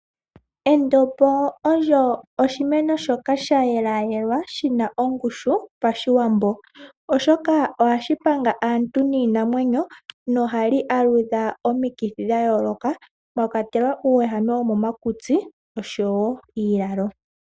Endombo olyo oshimeno shoka sha yelwayelwa shi na ongushu Pashiwambo, oshoka ohashi panga aantu niinamwenyo nohali aludha omikithi dha yooloka mwa kwatelwa uuwehame womomakutsi osho woo iilalo.